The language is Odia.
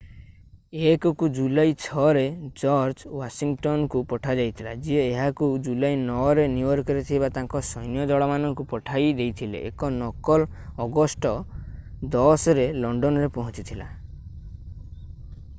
1 କୁ ଜୁଲାଇ 6 ରେ ଜର୍ଜ ୱାଶିଂଟନ୍ କୁ ପଠାଯାଇଥିଲା ଯିଏ ଏହାକୁ ଜୁଲାଇ 9 ରେ ନ୍ୟୁୟର୍କରେ ଥିବା ତାଙ୍କ ସୈନ୍ୟଦଳମାନଙ୍କୁ ପଢେଇ ଦେଇଥିଲେ ଏକ ନକଲ ଅଗଷ୍ଟ 10 ରେ ଲଣ୍ଡନରେ ପହଞ୍ଚିଥିଲା